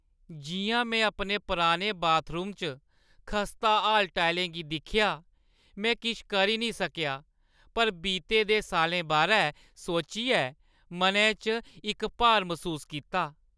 जिʼयां में अपने पुराने बाथरूम च खस्ताहाल टाइलें गी दिक्खेआ, में किश करी निं सकेआ पर बीते दे साल्लें बारै सोचियै मनै च इक भार मसूस कीता।